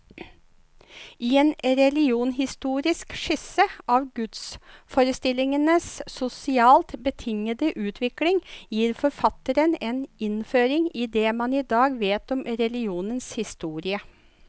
I en religionshistorisk skisse av gudsforestillingenes sosialt betingede utvikling, gir forfatteren en innføring i det man i dag vet om religionens historie.